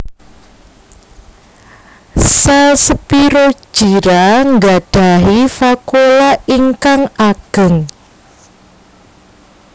Sèl Spirogyra nggadhahi vakuola ingkang ageng